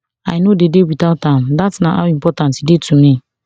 i no dey dey without am that na how important e dey to me